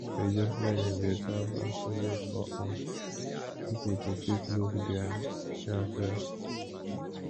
religious learning dey serve as a means for um pipo to fit look their inner self